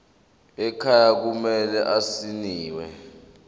ekhaya kumele asayiniwe